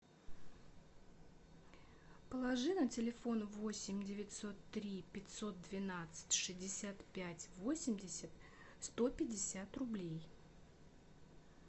положи на телефон восемь девятьсот три пятьсот двенадцать шестьдесят пять восемьдесят сто пятьдесят рублей